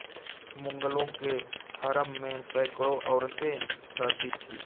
मुगलों के हरम में सैकड़ों औरतें रहती थीं